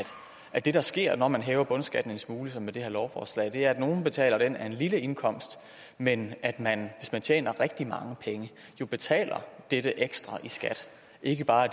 at det der sker når man hæver bundskatten en smule som med det her lovforslag er at nogle betaler den af en lille indkomst men at man hvis man tjener rigtig mange penge jo betaler dette ekstra i skat og ikke bare